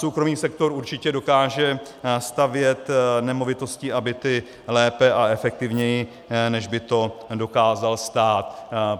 Soukromý sektor určitě dokáže stavět nemovitosti a byty lépe a efektivněji, než by to dokázal stát.